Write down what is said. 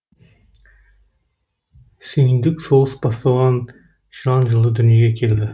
сүйіндік соғыс басталған жылан жылы дүниеге келді